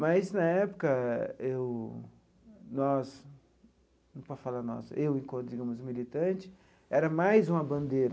Mas, na época, eu nós não posso falar nós, eu enquanto digamos militante, era mais uma bandeira.